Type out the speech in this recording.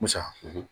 Musa